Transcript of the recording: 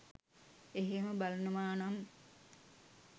එහෙම බලනවානම්